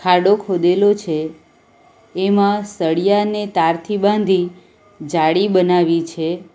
ખાડો ખોદેલો છે એમાં સળિયાને તારથી બાંધી જાળી બનાવી છે.